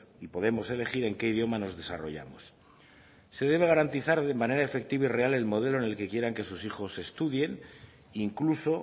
y podemos elegir en qué idioma nos desarrollamos se debe garantizar de manera efectiva y real el modelo en el que quieran que sus hijos estudien incluso